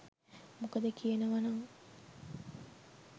මොකද කියනව නං